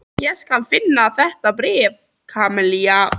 Ég skal finna þetta bréf, Kamilla.